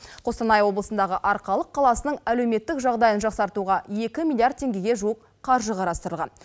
қостанай облысындағы арқалық қаласының әлеуметтік жағдайын жақсартуға екі миллиард теңгеге жуық қаржы қарастырылған